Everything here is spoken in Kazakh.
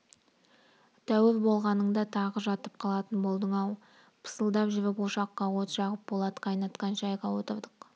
тәуір болғаныңда тағы жатып қалатын болдың-ау пысылдап жүріп ошаққа от жағып болат қайнатқан шайға отырдық